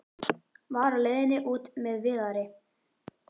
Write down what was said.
Var á leiðinni út með Viðari.